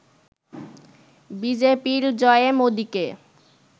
বিজেপির জয়ে মোদিকে